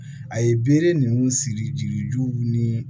A ye bere ninnu siri jirijuw ni